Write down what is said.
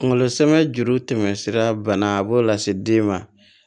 Kunkolo sɛnɛ juru tɛmɛsira bana a b'o lase den ma